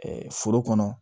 foro kɔnɔ